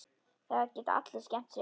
Það geta allir skemmt sér.